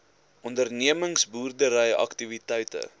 ondernemings boerdery aktiwiteite